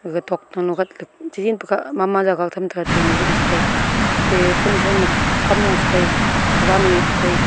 aga thokto no gat key cha jempa ka mama jagah tham taga atte machine cha tai atte konI thau ma kam nu cha taI kawan ne tai.